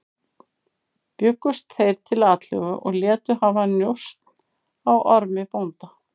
Bjuggust þeir til atlögu og létu hafa njósn á Ormi bónda.